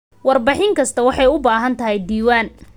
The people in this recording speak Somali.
Warbixin kasta waxay u baahan tahay diiwaan.